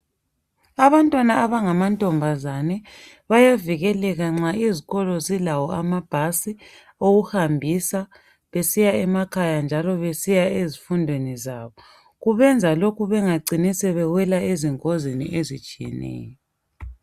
Abantwana abangamantombazane bayavikeleka nxa izikolo zilawo amabhasi okuhambisa besiya emakhaya njalo besiya ezifundweni zabo. Kubenza lokhu bengacini sebewela ezingozini ezitshiyeneyo.